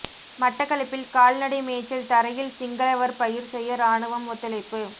மட்டக்களப்பில் கால்நடை மேய்ச்சல் தரையில் சிங்களவர் பயிர் செய்ய இராணுவம் ஒத்துழைப்பு